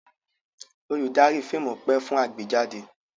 Olùdarí fíìmù pẹ́ fún àgbéjáde.